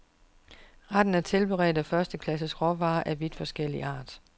Retten er tilberedt af første klasses råvarer af vidt forskellig art.